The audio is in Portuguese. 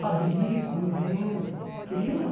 Fabrico, invento, crio, não.